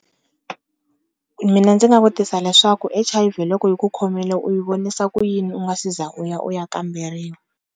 Mina ndzi nga vutisa leswaku H_I_V loko yi ku khomela u yi vonisa ku yini u nga se za u ya u ya kamberiwa.